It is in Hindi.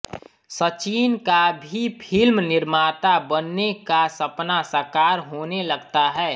सचिन का भी फ़िल्म निर्माता बनने का सपना साकार होने लगता है